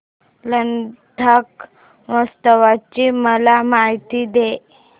लडाख महोत्सवाची मला माहिती दे